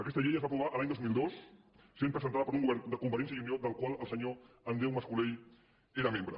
aquesta llei es va aprovar l’any dos mil dos i va ser presentada per un govern de convergència i unió del qual el senyor andreu mascolell era membre